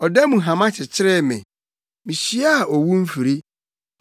Ɔda mu hama kyekyeree me; mihyiaa owu mfiri.